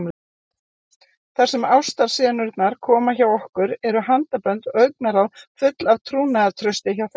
Þar sem ástarsenurnar koma hjá okkur eru handabönd og augnaráð full af trúnaðartrausti hjá þeim.